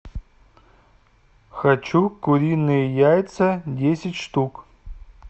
хочу куриные яйца десять штук